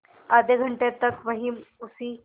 आधे घंटे तक वहीं उसी